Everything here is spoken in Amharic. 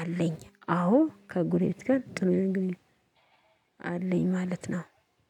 አለኝ። አዎ ከጎረቤት ጋር ጥሩ የሆነ ግንኙነት አለኝ። ማለት ነው።